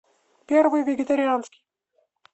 первый вегетарианский